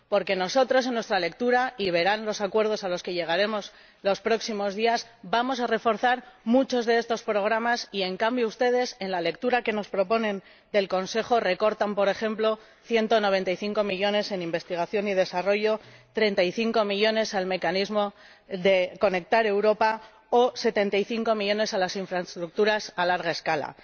Porque nosotros, en nuestra lectura —y verán los acuerdos a los que llegaremos los próximos días—, vamos a reforzar muchos de estos programas y, en cambio, ustedes, en la lectura que nos proponen del Consejo, recortan, por ejemplo, 195 millones en investigación y desarrollo, 35 millones en el Mecanismo Conectar Europa o 75 millones en las infraestructuras a gran escala.